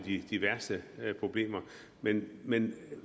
de værste problemer men men